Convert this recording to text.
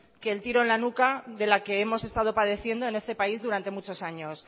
que el tiro en la nuca de la que hemos estado padeciendo en este país durante muchos años